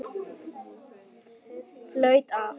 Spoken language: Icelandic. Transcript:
Flautað af.